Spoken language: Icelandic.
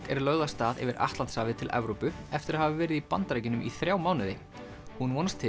er lögð af stað yfir Atlantshafið til Evrópu eftir að hafa verið í Bandaríkjunum í þrjá mánuði hún vonast til